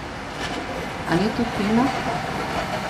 A ni to fino?